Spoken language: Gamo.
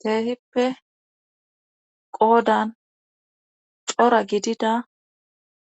Kehippe qoodan cora gidida